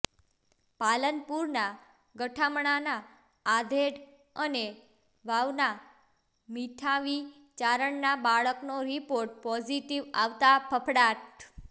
પાલનપુરના ગઠામણના આધેડ અને વાવના મીઠાવી ચારણના બાળકનો રિપોર્ટ પોઝિટિવ આવતાં ફફડાટ